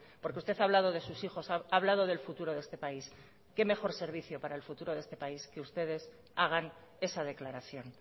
porque usted ha hablado de sus hijos ha hablado del futuro de este país qué mejor servicio para el futuro de este país que ustedes hagan esa declaración